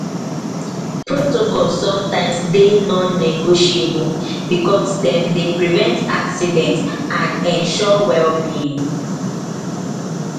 protocol sometims dey non-negotiable becos sometims dem dey prevent accident and ensur well being